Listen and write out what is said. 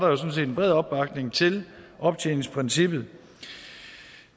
en bred opbakning til optjeningsprincippet